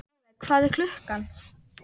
Álfey, hvað er klukkan?